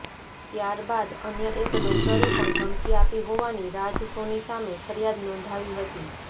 ત્યારબાદ અન્ય એક ડોક્ટરે પણ ધમકી આપી હોવાની રાજ સોની સામે ફરિયાદ નોંધાવી હતી